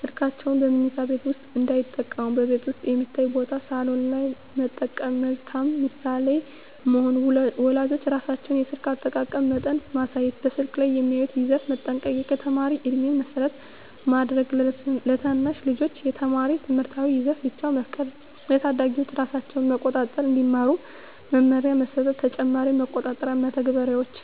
ስልካቸውን በመኝታ ቤት ውስጥ እንዳይጠቀሙ በቤት ውስጥ የሚታይ ቦታ (ሳሎን) ላይ መጠቀም መልካም ምሳሌ መሆን ወላጆች ራሳቸው የስልክ አጠቃቀም መጠን ማሳየት በስልክ ላይ የሚያዩትን ይዘት መጠንቀቅ የተማሪ ዕድሜን መሰረት ማድረግ ለታናሽ ልጆች የተማሪ ትምህርታዊ ይዘት ብቻ መፍቀድ ለታዳጊዎች ራሳቸውን መቆጣጠር እንዲማሩ መመሪያ መስጠት ተጨማሪ መቆጣጠሪያ መተግበሪያዎች